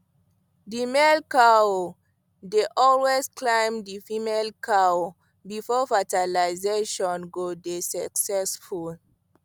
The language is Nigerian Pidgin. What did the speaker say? the male cow dey always climb the female cow before fertilazation go dey succesful